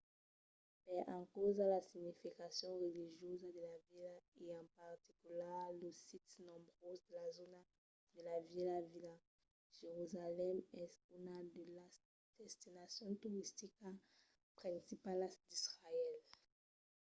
per encausa de la significacion religiosa de la vila e en particular los sits nombroses de la zòna de la vièlha vila jerusalèm es una de las destinacions toristicas principalas d'israèl